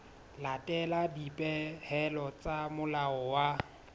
latela dipehelo tsa molao wa